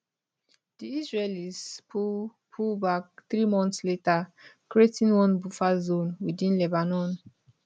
di israelis pull pull back three months later creating one buffer zone within lebanon